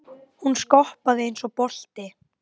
Hún skoppaði um eins og bolti.